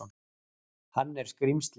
Hann er skrímslið.